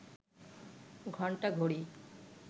ঘন্টা, ঘড়ি